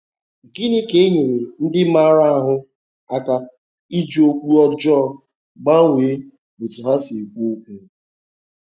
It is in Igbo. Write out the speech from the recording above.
Gịnị ga-enyere ndị maara ahụ́ aka iji okwu ọjọọ gbanwee otú ha si ekwu okwu?